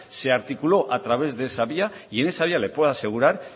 se articuló a través de esa vía y en esa vía le puedo asegurar